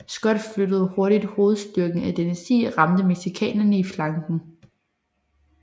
Scott flyttede hurtigt hovedstyrken ad denne sti og ramte mexicanerne i flanken